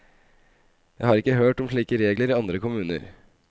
Jeg har ikke hørt om slike regler i andre kommuner.